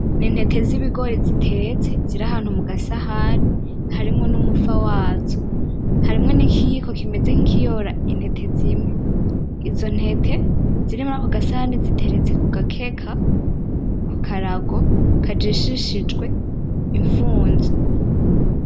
N'intete z'ibigori zitetse ziri ahantu mugasahani harimwo n'umufa wazo, harimwo n'ikiyiko kimeze nkikiyora intete zimwe. Izo ntete ziri muri ako gasahani ziteretse kugakeka, kukarago, kajishishijwe imfunzo